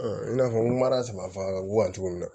i n'a fɔ n ko mara tama fagara guwa cogo min na